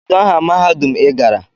Kedu aha mahadum i gara?